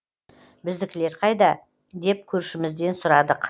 біздікілер қайда деп көршімізден сұрадық